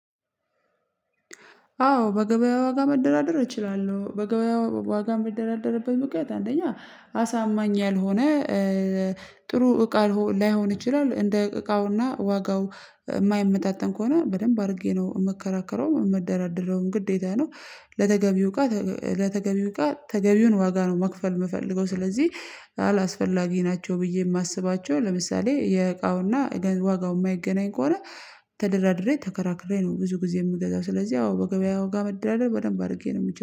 አዎ በገበያ ዋጋ መደራደር እችላለሁ። በገበያ ዋጋ ምደራደርበት ምክንያት አንደኛ አሳማኝ ያልሆነ ጥሩ እቃ ላይሆን ይችላል እንደ እቃውና ዋጋው የማይመጣጠን ከሆነ በደንብ አድርጌ ነው የምከራከረው የምደራደረውም ግዴታ ነው ለተገቢው እቃ ለተገቢው እቃ ተገቢውን ዋጋ ነው መክፈል የምፈልገው ስለዚህ አላስፈላጊ ናቸው ብዬ የማስባቸው ለምሳሌ የእቃውና ዋጋው የማይገናኝ ከሆነ ተደራድሬ ተከራክሬ ነው ብዙ ጊዜ የምገዛው። ስለዚህ አዎ በገበያው ጋር መደረግ በደንብ አድርጌ ነው የምችለው።